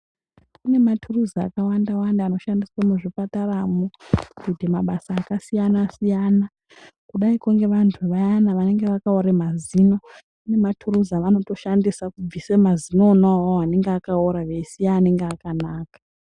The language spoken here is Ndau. Kune maturuzi akawanda-wanda anoshandiswa muzvipataramo kuite mabasa akasiyana-siyana, kudaiko ngevantu vayana vanenge vakaore mazino. Kune maturuzi avanotoshandisa kubvisa mazino ona avavo anenge akaora veisiya anenge akanaka.